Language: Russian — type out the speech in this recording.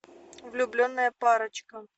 влюбленная парочка